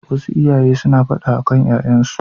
Wasu iyaye suna faɗa akan ƴaƴansu.